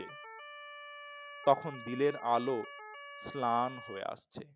তখন দিনের আলো প্লান হয়ে আসছে